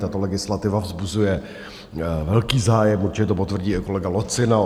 Tato legislativa vzbuzuje velký zájem, určitě to potvrdí i kolega Lacina.